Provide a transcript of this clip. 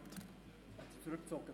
Diese Motion ist zurückgezogen.